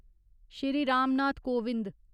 Shri Ram Nath Kovind